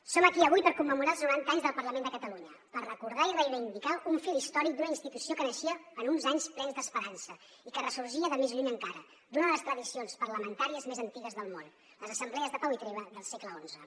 som aquí avui per commemorar els noranta anys del parlament de catalunya per recordar i reivindicar un fil històric d’una institució que naixia en uns anys plens d’esperança i que ressorgia de més lluny encara d’una de les tradicions parlamentàries més antigues del món les assemblees de pau i treva del segle xi